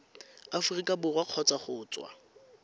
aforika borwa kgotsa go tswa